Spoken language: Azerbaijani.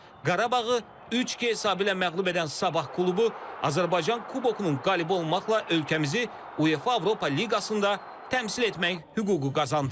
Qarabağı 3-2 hesabı ilə məğlub edən Sabah klubu Azərbaycan Kubokunun qalibi olmaqla ölkəmizi UEFA Avropa Liqasında təmsil etmək hüququ qazandı.